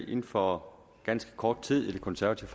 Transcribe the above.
inden for ganske kort tid i det konservative